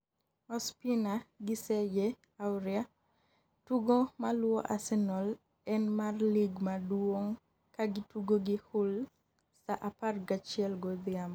Ospina gi Serge Aurier tugo maluwo Arsenal en mar lig maduong' kagitugo gi Hull sa apar gachiel godhiambo